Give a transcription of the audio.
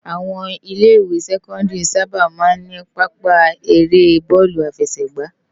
Áwòn ilè iwé sèkòndìrí sàbá má n ni pàápa éré bòlú áfèsëgbá